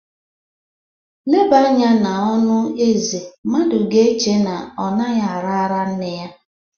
Ileba anya n’ọnụ Eze mmadụ ga-eche na ọ naghị ara ara nne ya.